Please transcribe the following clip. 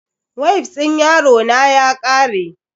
Wifs din yarona ya kare.